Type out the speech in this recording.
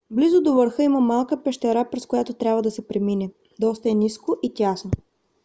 близо до върха има малка пещера през която трябва да се премине. доста е ниско и тясно